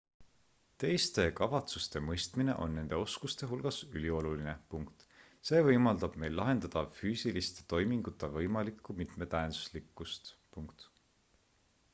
teiste kavatsuste mõistmine on nende oskuste hulgas ülioluline see võimaldab meil lahendada füüsiliste toimingute võimalikku mitmetähenduslikkust